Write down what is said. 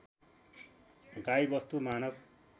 गाई वस्तु मानव